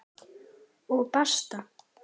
Og basta!